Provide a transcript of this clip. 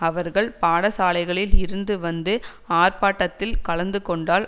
அவர்கள் பாடசாலைகளில் இருந்து வந்து ஆர்ப்பாட்டத்தில் கலந்துகொண்டால்